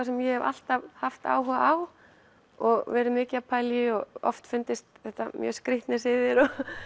sem ég hef alltaf haft áhuga á og verið mikið að pæla í og oft fundist þetta mjög skrýtnir siðir